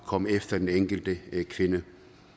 komme efter den enkelte kvinde